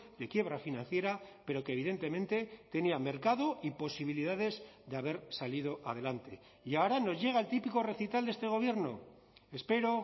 de quiebra financiera pero que evidentemente tenía mercado y posibilidades de haber salido adelante y ahora nos llega el típico recital de este gobierno espero